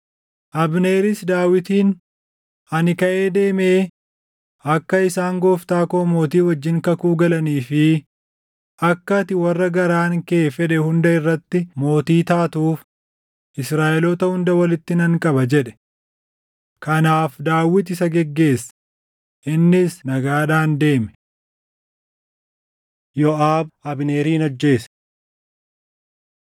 Abneeris Daawitiin, “Ani kaʼee deemee akka isaan gooftaa koo mootii wajjin kakuu galanii fi akka ati warra garaan kee fedhe hunda irratti mootii taatuuf Israaʼeloota hunda walitti nan qaba” jedhe. Kanaaf Daawit isa geggeesse; innis nagaadhaan deeme. Yooʼaab Abneerin Ajjeese